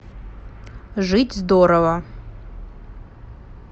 жить здорово